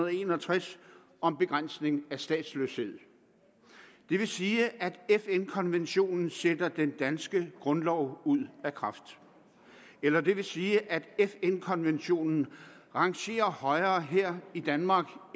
en og tres om begrænsning af statsløshed det vil sige at fn konventionen sætter den danske grundlov ud af kraft eller det vil sige at fn konventionen rangerer højere her i danmark